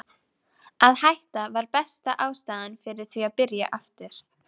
Að hætta var besta ástæðan fyrir því að byrja aftur.